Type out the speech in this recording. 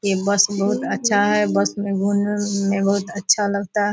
ये बस बहुत अच्छा है बस में घूम ने मे बहुत अच्छा लगता है।